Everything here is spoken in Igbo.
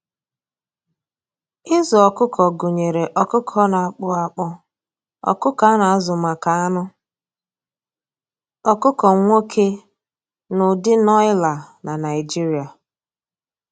Ịzụ ọkụkọ gụnyere ọkụkọ na-akpụ akpụ, ọkụkọ a na-azụ maka anụ, ọkụkọ nwoke, na ụdị nọịla na Naịjirịa.